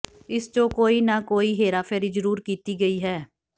ਇਸ ਚ ਕੋਈ ਨਾ ਕੋਈ ਹੇਰਾਫੇਰੀ ਜ਼ਰੂਰ ਕੀਤੀ ਗਈ ਹੈ